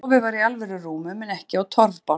Þar sem sofið var í alvöru rúmum en ekki á torfbálkum.